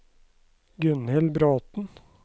Gunhild Bråten